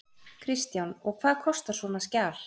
Kristján: Og hvað kostar svona skjal?